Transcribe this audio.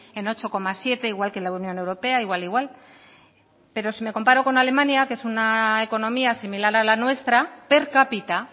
en ocho coma siete igual que la unión europea igual igual pero si me comparo con alemania que es una economía similar a la nuestra per cápita